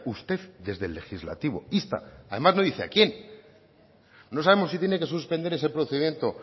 usted desde el legislativo insta además no dice a quién no sabemos si tiene que suspender ese procedimiento